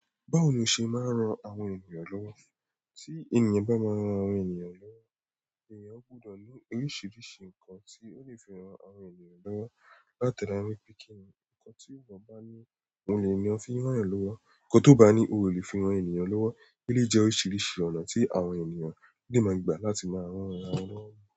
Báwo ni o ṣe máa ń ran àwọn ènìyàn lọ́wọ́? Tí ènìyàn bá máa ń ran àwọn ènìyàn lọ́wọ́, ènìyàn gbọ́dọ̀ mọ oríṣiríṣi nǹkan tí ó lè fi ran àwọn ènìyàn lọ́wọ́. Látara pẹ́ kínì, nǹkan tí èèyàn bá ní, òun ní èèyàn fi n rán èèyàn lọ́wọ́. Nǹkan tó bá ní i, o lè fi ran ènìyàn lọ́wọ́. Ó lé jẹ́ oríṣiríṣi ọ̀nà tí àwọn ènìyàn de máa gba láti máa rán ara wọn lọ́wọ́